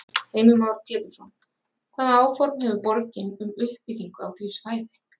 Heimir Már Pétursson: Hvaða áform hefur borgin um uppbyggingu á því svæði?